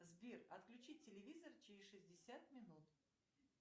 сбер отключить телевизор через шестьдесят минут